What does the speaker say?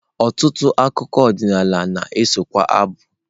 Ọtụtụ akụkọ ọdịnala na-esokwa abụ.